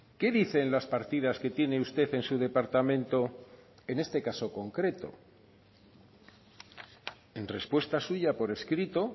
qué dicen las partidas que tiene usted en su departamento en este caso concreto en respuesta suya por escrito